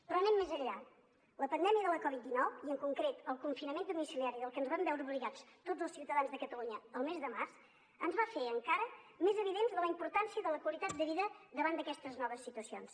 però anem més enllà la pandèmia de la covid dinou i en concret el confinament domiciliari al que ens vam veure obligats tots els ciutadans de catalunya el mes de març ens va fer encara més evident la importància de la qualitat de vida davant d’aquestes noves situacions